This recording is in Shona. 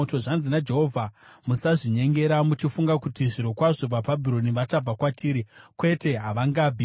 “Zvanzi naJehovha: Musazvinyengera muchifunga kuti, ‘Zvirokwazvo vaBhabhironi vachabva kwatiri.’ Kwete, havangabvi!